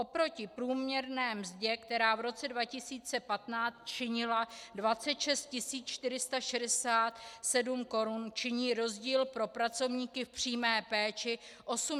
Oproti průměrné mzdě, která v roce 2015 činila 26 467 korun, činí rozdíl pro pracovníky v přímé péčí 8 515 korun.